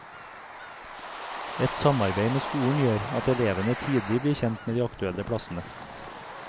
Et samarbeid med skolen gjør at elevene tidlig blir kjent med de aktuelle plassene.